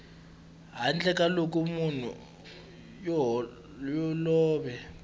handle ka loko munhu yoloye